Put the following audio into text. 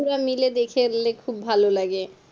পড়া মাইল দেখলে খুব ভালো লাগে